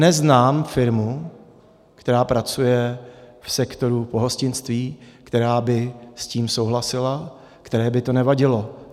Neznám firmu, která pracuje v sektoru pohostinství, která by s tím souhlasila, které by to nevadilo.